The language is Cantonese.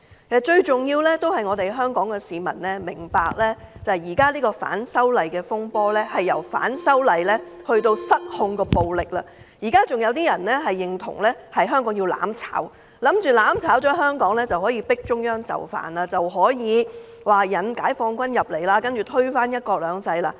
其實重點仍是香港市民要明白，現時反修例的風波已經由反修例變成失控的暴力，有人仍然認同香港要"攬炒"，以為這樣香港便可以迫使中央就範，可以引解放軍進港，然後推翻"一國兩制"。